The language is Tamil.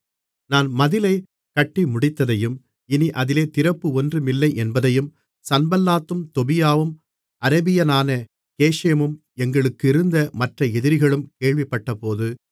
நான் மதிலைக் கட்டிமுடித்ததையும் இனி அதிலே திறப்பு ஒன்றுமில்லை என்பதையும் சன்பல்லாத்தும் தொபியாவும் அரபியனான கேஷேமும் எங்களுக்கிருந்த மற்ற எதிரிகளும் கேள்விப்பட்டபோது